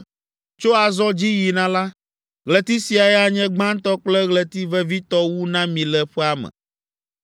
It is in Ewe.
“Tso azɔ dzi yina la, ɣleti siae anye gbãtɔ kple ɣleti vevitɔ wu na mi le ƒea me.